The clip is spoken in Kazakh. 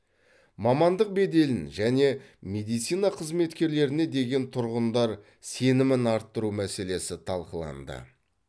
мамандық беделін және медицина қызметкерлеріне деген тұрғындар сенімін арттыру мәселесі талқыланды